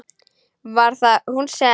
Var það hún sem.?